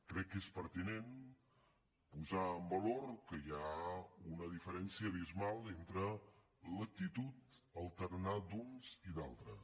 crec que és pertinent posar en valor que hi ha una diferència abismal entre l’actitud el tarannà d’uns i d’altres